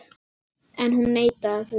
En hún neitaði því.